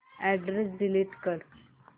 address delete कर